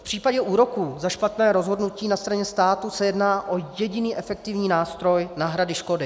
V případě úroku za špatné rozhodnutí na straně státu se jedná o jediný efektivní nástroj náhrady škody.